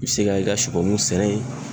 I bɛ se ka i ka supɔmu sɛnɛ ye.